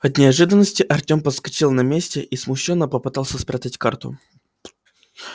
от неожиданности артём подскочил на месте и смущённо попытался спрятать карту